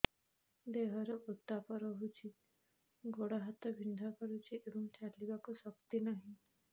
ଦେହରେ ଉତାପ ରହୁଛି ଗୋଡ଼ ହାତ ବିନ୍ଧା କରୁଛି ଏବଂ ଚାଲିବାକୁ ଶକ୍ତି ନାହିଁ